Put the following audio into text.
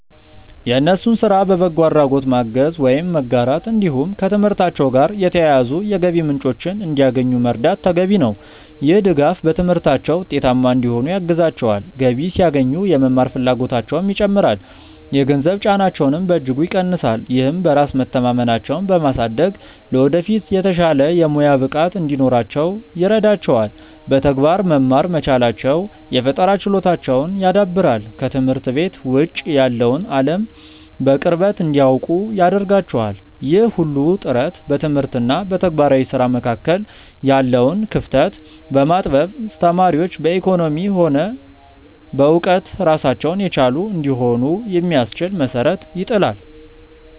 የእነሱን ስራ በበጎ አድራጎት ማገዝ ወይም መጋራት፣ እንዲሁም ከትምህርታቸው ጋር የተያያዙ የገቢ ምንጮችን እንዲያገኙ መርዳት ተገቢ ነው። ይህ ድጋፍ በትምህርታቸው ውጤታማ እንዲሆኑ ያግዛቸዋል፤ ገቢ ሲያገኙ የመማር ፍላጎታቸውም ይጨምራል፣ የገንዘብ ጫናቸውንም በእጅጉ ይቀንሳል። ይህም በራስ መተማመናቸውን በማሳደግ ለወደፊት የተሻለ የሙያ ብቃት እንዲኖራቸው ይረዳቸዋል። በተግባር መማር መቻላቸው የፈጠራ ችሎታቸውን ያዳብራል፤ ከትምህርት ቤት ውጭ ያለውን አለም በቅርበት እንዲያውቁ ያደርጋቸዋል። ይህ ሁሉ ጥረት በትምህርት እና በተግባራዊ ስራ መካከል ያለውን ክፍተት በማጥበብ ተማሪዎች በኢኮኖሚም ሆነ በእውቀት ራሳቸውን የቻሉ እንዲሆኑ የሚያስችል መሰረት ይጥላል።